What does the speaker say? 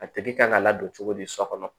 A tigi kan ka ladon cogo di so kɔnɔ